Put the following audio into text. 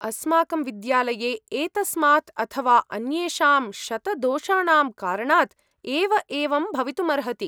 अस्माकं विद्यालये एतस्मात् अथ वा अन्येषां शतदोषाणां कारणात् एव एवं भवितुमर्हति।